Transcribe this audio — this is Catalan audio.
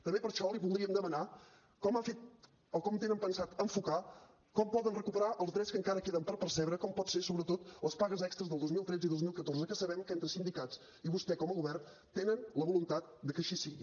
també per això li voldríem demanar com ha fet o com tenen pensat enfocar com poden recuperar els drets que encara queden per percebre com poden ser sobretot les pagues extres del dos mil tretze i dos mil catorze que sabem que entre sindicats i vostè com a govern tenen la voluntat de que així sigui